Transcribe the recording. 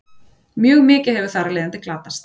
Mjög mikið hefur þar af leiðandi glatast.